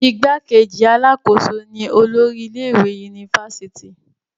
igbákejì alákòóso ni olórí ilé ìwé unifásitì